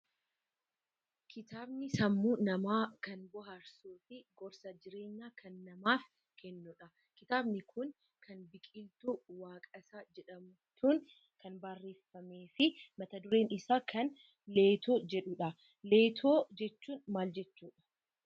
Kitaabni sammuu namaa kan bohaarsuu fi gorsa jireenyaa kan namaaf kennudha. Kitaabni kun kan Biqiltuu Waaqasaa jedhamtuun kan barreeffamee fi mata dureen isaa kan Leetoo jedhudha. Leetoo jechuun maal jechuudha?